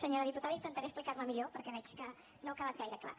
senyora diputada intentaré explicar me millor perquè veig que no ha quedat gaire clar